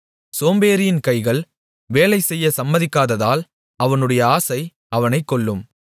சோம்பேறியின் கைகள் வேலைசெய்யச் சம்மதிக்காததால் அவனுடைய ஆசை அவனைக் கொல்லும்